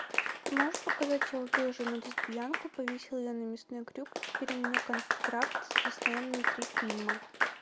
ты можешь показать я убил жену лесбиянку повесил ее на мясной крюк и теперь у меня контракт с диснеем на три фильма